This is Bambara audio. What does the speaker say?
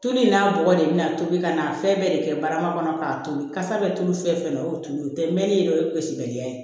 Tulu in n'a bɔgɔ de bɛna tobi ka n'a fɛn bɛɛ de kɛ barama kɔnɔ k'a to ye kasa bɛ tulu fɛn fɛn o tulu o tɛ mɛnni ye dɛ o ye gosibali ya ye